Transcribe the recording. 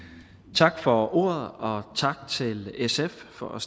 tak for ordet og tak til sf for at